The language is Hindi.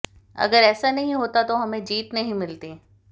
अगर ऐसा नहीं होता तो हमें जीत नहीं मिलती